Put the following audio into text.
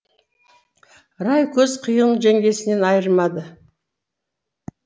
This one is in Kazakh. рай көз қиығын жеңгесінен айырмады